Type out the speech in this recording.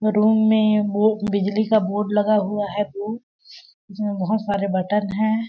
अ room में वो बिजली का बोर्ड लगा हुआ है दो उसमें बहुत सारे बटन हैं ।